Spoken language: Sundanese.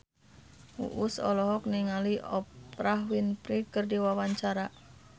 Uus olohok ningali Oprah Winfrey keur diwawancara